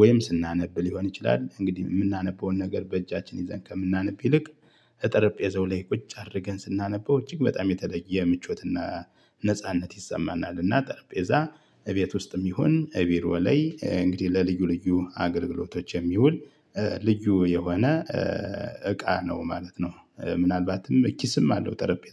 ወይም ስናነብ ሊሆን ይችላል። እንግዲህ የምናነበውን ነገር በእጃችን ይዘን ከምናነብ ይልቅ ከጠረጴዛው ላይ ቁጭ አድርገን ስናነበው እጅግ በጣም የተለየ ምቾትና ነጻነት ይሰማናልና። ጠረጴዛ እቤት ውስጥም ይሁን እቢሮ ላይ እንግዲህ ለልዩ ልዩ አገልግሎቶች የሚውል ልዩ የሆነ እቃ ነው ማለት ነው። ምናልባትም ኪስም አለው ጠረጴዛ